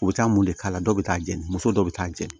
U bɛ taa mun de k'a la dɔw bɛ taa jeni muso dɔw bɛ taa jeni